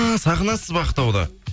ааа сағынасыз ба ақтауды